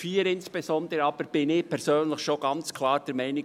Insbesondere bei Ziffer 4 bin ich persönlich aber schon ganz klar der Meinung: